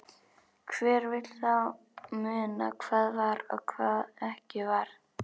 Hver vill þá muna hvað var og hvað ekki var.